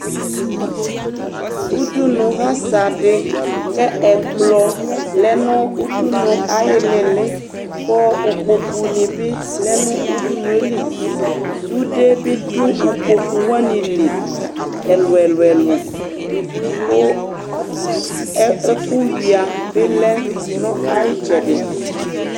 Udunu lasadi kɛ ɛkpɔ lɛ nu udunu ayi ɩlili Ku ikpokpu nibi lɛ nu udunuéli Sudé bidu ikpokpu wani liɛlu ɛlu ku ɛku yua bilɛ na ɛyitu